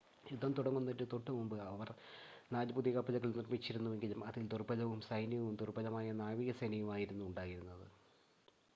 യുദ്ധം തുടങ്ങുന്നതിന് തൊട്ടുമുമ്പ് അവർ നാല് പുതിയ കപ്പലുകൾ നിർമ്മിച്ചിരുന്നെങ്കിലും അതിൽ ദുർബലമായ സൈന്യവും ദുർബലമായ നാവികസേനയും ആയിരുന്നു ഉണ്ടായിരുന്നത്